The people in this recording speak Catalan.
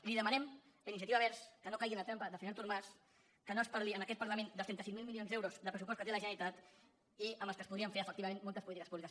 i li demanem a iniciativa verds que no caigui en la trampa del senyor artur mas que no es parli en aquest parlament dels trenta cinc mil milions d’euros de pressupost que té la generalitat i amb els quals es podrien fer efectivament moltes polítiques públiques